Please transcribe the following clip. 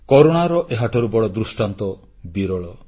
କରୁଣାର ଏହାଠାରୁ ବଡ଼ ଦୃଷ୍ଟାନ୍ତ ବିରଳ